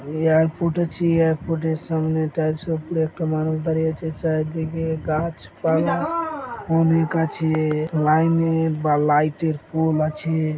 Airport আছে এয়ারপোর্টের সামনে টাই শুট পরে একটা মানুষ দাড়িয়ে আছে চারিদিকে গাছপালা অনেক আছে লাইনের বা লাইটের পোল আছে।